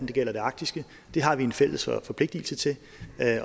det gælder det arktiske det har vi en fælles forpligtelse til